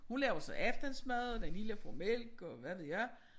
Hun laver så aftensmad og den lille får mælk og hvad ved jeg